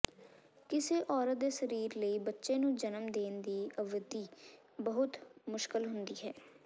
ਕਿਸੇ ਔਰਤ ਦੇ ਸਰੀਰ ਲਈ ਬੱਚੇ ਨੂੰ ਜਨਮ ਦੇਣ ਦੀ ਅਵਧੀ ਬਹੁਤ ਮੁਸ਼ਕਲ ਹੁੰਦੀ ਹੈ